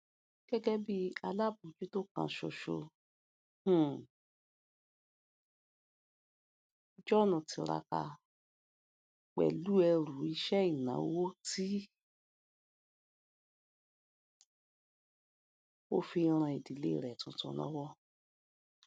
gẹgẹ bí alábòójútó kan ṣoṣo um john tiraka pẹlú ẹrù iṣẹ ìnáwó ti o fi n ran ìdílé rẹ tuntun lọwọ